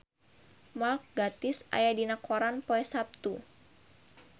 Mark Gatiss aya dina koran poe Saptu